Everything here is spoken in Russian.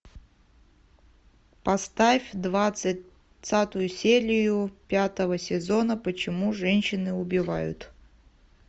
поставь двадцатую серию пятого сезона почему женщины убивают